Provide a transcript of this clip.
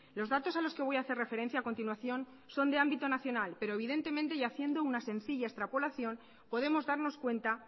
los datos a los que voy a hacer referencia a continuación son de ámbito nacional pero evidentemente y haciendo una sencilla extrapolación podemos darnos cuenta